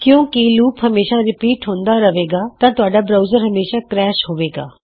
ਕਿਉ ਕਿ ਲੂਪ ਹਮੇਸ਼ਾ ਰੀਪੀਟ ਹੁੰਦਾ ਰਹੇਗਾ ਤਾਂ ਤੁਹਾਡਾ ਬਰਾਉਜਰ ਹਮੇਸ਼ਾ ਕਰੈਸ਼ ਹੋਵੇਗਾ